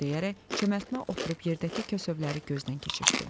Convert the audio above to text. O, bunu deyərək çəmbətmə oturub yerdəki kəsövləri gözdən keçirtdi.